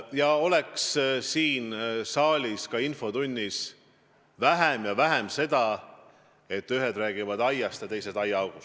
Jah, oleks siin saalis ka infotunnis vähem seda, et ühed räägivad aiast ja teised aiaaugust!